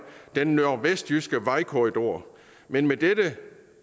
den nordvestjyske vejkorridor men med dette